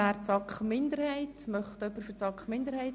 Wir haben einen Sprecher der SAKMinderheit.